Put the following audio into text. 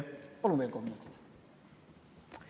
Palun veel kolm minutit!